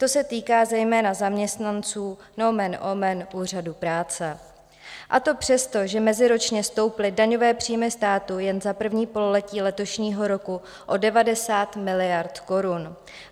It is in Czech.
To se týká zejména zaměstnanců - nomen omen - úřadů práce, a to přesto, že meziročně stouply daňové příjmy státu jen za první pololetí letošního roku o 90 miliard korun.